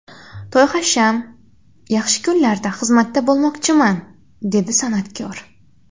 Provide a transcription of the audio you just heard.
To‘y-hasham, yaxshi kunlarda xizmatda bo‘lmoqchiman”, dedi san’atkor.